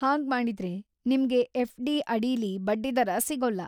ಹಾಗ್ಮಾಡಿದ್ರೆ, ನಿಮ್ಗೆ ಎಫ್.ಡಿ. ಅಡಿಲೀ ಬಡ್ಡಿದರ ಸಿಗೊಲ್ಲ.